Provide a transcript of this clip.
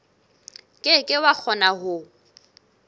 ke ke wa kgona ho